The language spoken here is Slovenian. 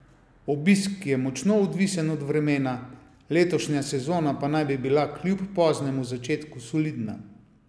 Obisk je močno odvisen od vremena, letošnja sezona pa naj bi bila kljub poznemu začetku solidna.